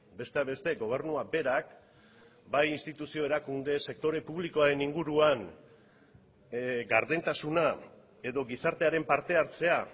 besteak beste gobernuak berak bai instituzio erakunde sektore publikoaren inguruan gardentasuna edo gizartearen parte hartzea